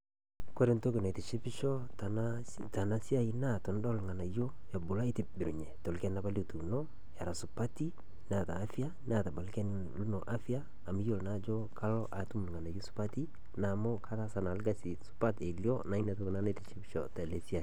Ore entoki naitishipisho tana siai naa, tonudol irng'anayio ebulu aitibirunye tolchani apa lituuno, arashu supati, neeta afya ,,neeta olchani lino afya amu yiolo naa ajo kalo atum irng'anayio supati, namu kataasa na karsi supat elio, na inatoki naa naitishipisho tena siai.